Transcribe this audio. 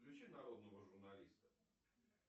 включи народного журналиста